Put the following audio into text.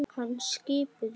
Hana skipuðu